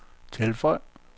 tilføj